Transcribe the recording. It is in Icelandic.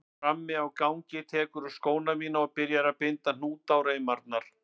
Frammi á gangi tekurðu skóna mína og byrjar að binda hnúta á reimarnar.